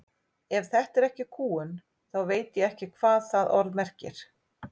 Ef þetta er ekki kúgun þá veit ég ekki hvað það orð merkir.